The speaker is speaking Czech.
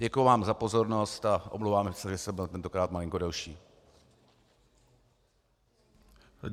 Děkuji vám za pozornost a omlouvám se, že jsem byl tentokrát malinko delší.